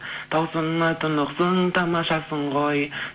тау суынан тұнықсың тамашасың ғой